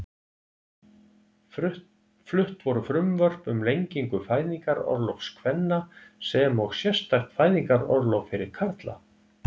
Flutt voru frumvörp um lengingu fæðingarorlofs kvenna sem og sérstakt fæðingarorlof fyrir karla.